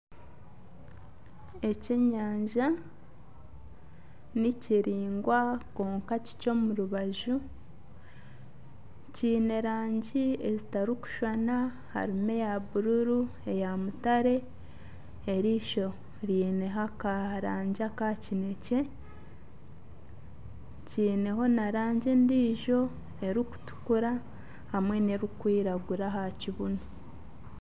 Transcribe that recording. Ekyenyanja ni kiraingwa kwonka kikye omu rubaju kyine rangi ezitarikushushana harimu eya bururu, eya mutare eriisho ryineho akarangi aka kinekye kyineho na rangi endiijo erikutukura hamwe n'erikwiragura aha kibunu.